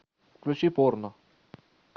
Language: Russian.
включи порно